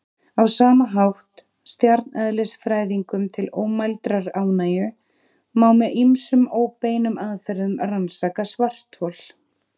Á sama hátt, stjarneðlisfræðingum til ómældrar ánægju, má með ýmsum óbeinum aðferðum rannsaka svarthol.